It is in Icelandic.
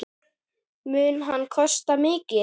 Mun hann kosta mikið?